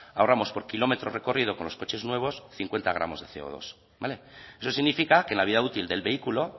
ahorramos por kilómetro recorrido con los coches nuevos cincuenta gramos de ce o dos eso significa que la vida útil del vehículo